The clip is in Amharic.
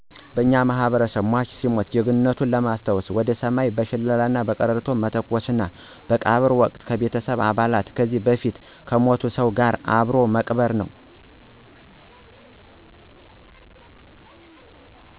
በእኛ ማህበረሰብ ሟች ሲሞት ጀግንነቱን ለማሰታወሰ ወደ ሰማይ በሸለላና በቀረርቶ መተኮሰና በቀብር ወቅት ከቤተሰቡ አባል ከዚህ በፊት ከሞተ ሰው ጋር አብሮ መቅበር ነው።